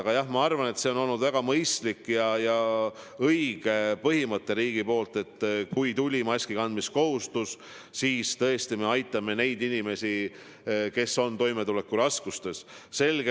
Aga jah, ma arvan, et see on olnud väga mõistlik ja õige põhimõte, et kui tuli maskikandmise kohustus, siis riik tõesti aitab neid inimesi, kes on toimetulekuraskustes.